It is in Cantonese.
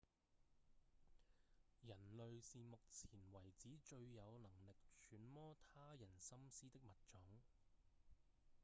人類是目前為止最有能力揣摩他人心思的物種